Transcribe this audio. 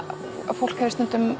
fólk hefur stundum